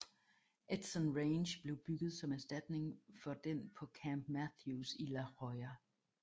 Edson Range blev bygget som erstatning for den på Camp Matthews i La Jolla